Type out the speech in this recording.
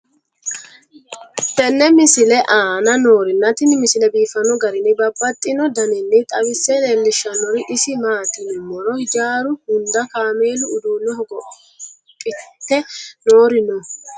tenne misile aana noorina tini misile biiffanno garinni babaxxinno daniinni xawisse leelishanori isi maati yinummoro hijjaru hunda kaammelu uudunne hogophphitte noori noo